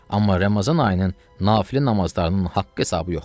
Amma Ramazan ayının Nafilə namazlarının haqq hesabı yoxdur.